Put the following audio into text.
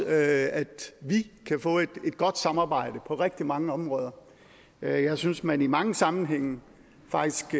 at vi kan få et godt samarbejde på rigtig mange områder jeg synes man i mange sammenhænge faktisk